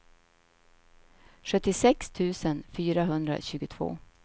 sjuttiosex tusen fyrahundratjugotvå